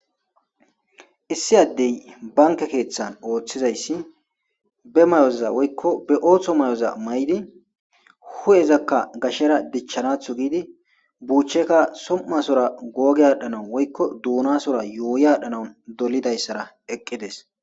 issi addey banke keeththan ooththizayssi be may7oza woykko be ooththo may7oza may7di hu7ezakka gashera dichchanatho giidi buucheka som7asora googe adhdhanau woykko duunasora yooyi aadhdhanaun dolidayssara eqqides